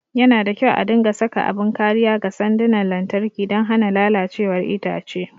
Yana da kyau a dinga saka abin kariya ga sandunan lantarki don hana lalacewar itace.